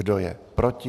Kdo je proti?